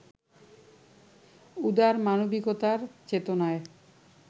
উদার মানবিকতার চেতনায়